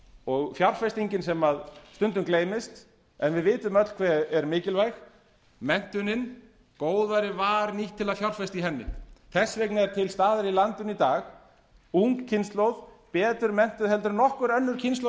og fjárfestingin sem stundum gleymist og við vitum öll hve er mikilvæg menntunin góðærið var nýtt til að fjárfesta í henni þess vegna er til staðar í landinu í dag ung kynslóð betur menntuð heldur en nokkur önnur kynslóð